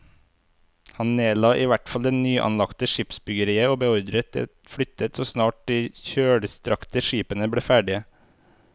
Han nedla i hvert fall det nyanlagte skipsbyggeriet og beordret det flyttet så snart de kjølstrakte skipene ble ferdige.